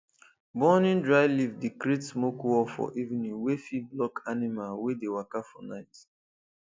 burning dry leaf dey create smoke wall for evening wey fit block animal wey dey waka for night